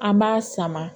An b'a sama